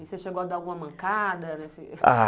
E você chegou a dar alguma mancada assim? Ah